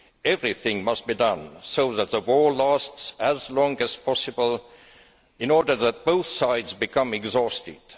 Everything must be done so that the war lasts as long as possible in order that both sides become exhausted.